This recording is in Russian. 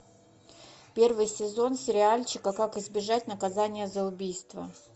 первый сезон сериальчика как избежать наказания за убийство